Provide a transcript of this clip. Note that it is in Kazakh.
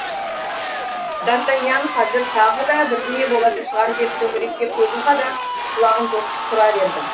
д артаньян қазір тағы да бірдеңе болатын шығар деп төңірекке көзін қадап құлағын тосып тұра берді